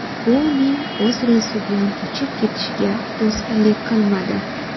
Bu uning o‘z reysi bilan uchib ketishiga to‘sqinlik qilmadi.